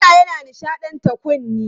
Kiɗa yana nishaɗanta kunne.